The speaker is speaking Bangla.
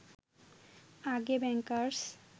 আগে ব্যাংকার্স